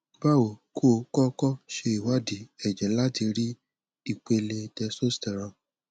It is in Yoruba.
bawo kó o kọkọ ṣe ìwádìí ẹjẹ láti rí ipéle testosterone